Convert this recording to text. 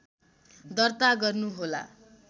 दर्ता गर्नुहोला